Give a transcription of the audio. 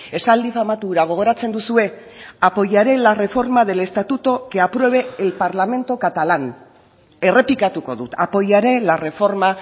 esaldi famatu hura gogoratzen duzue apoyaré la reforma del estatuto que apruebe el parlamento catalán errepikatuko dut apoyaré la reforma